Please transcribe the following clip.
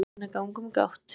jólasveinar ganga um gátt